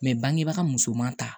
bangebaga musoman ta